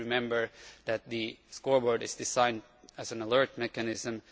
We should remember that the scoreboard is designed as an alert mechanism.